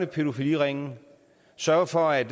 pædofiliringe sørge for at